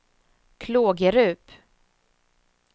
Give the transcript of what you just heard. Klågerup